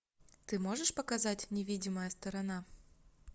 ты можешь показать невидимая сторона